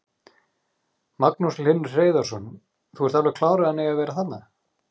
Magnús Hlynur Hreiðarsson: Þú ert alveg klár að hann eigi að vera þarna?